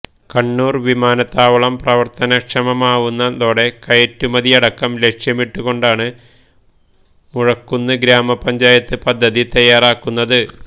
കണ്ണൂര് വിമാനത്താവളം പ്രവര്ത്തനക്ഷമമാവുന്നതോടെ കയറ്റുമതിയടക്കം ലക്ഷ്യമിട്ട് കൊണ്ടാണ് മുഴക്കുന്ന് ഗ്രാമപഞ്ചായത്ത് പദ്ധതി തയ്യാറാക്കുന്നത്